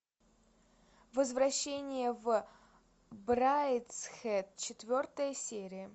возвращение в брайдсхед четвертая серия